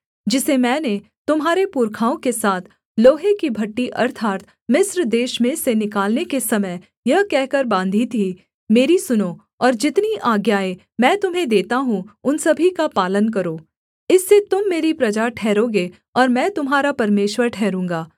जिसे मैंने तुम्हारे पुरखाओं के साथ लोहे की भट्ठी अर्थात् मिस्र देश में से निकालने के समय यह कहकर बाँधी थी मेरी सुनो और जितनी आज्ञाएँ मैं तुम्हें देता हूँ उन सभी का पालन करो इससे तुम मेरी प्रजा ठहरोगे और मैं तुम्हारा परमेश्वर ठहरूँगा